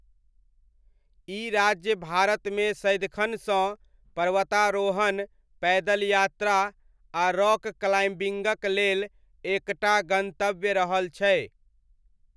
ई राज्य भारतमे सदिखनसँ पर्वतारोहण, पैदल यात्रा, आ रॉक क्लाइम्बिङ्गक लेल एक टा गन्तव्य रहल छै।